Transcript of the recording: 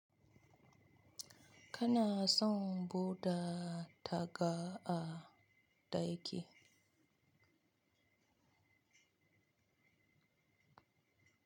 Kana son buɗe taga a ɗaki?